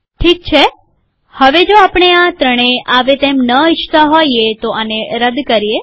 ઠીક છે હવે જો આપણે આ ત્રણેય આવે એમ ન ઈચ્છતા હોઈએ તો આને રદ કરીએ